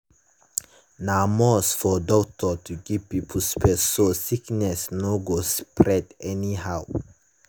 na must for doctor to give pipo space so sickness no go spread anyhow.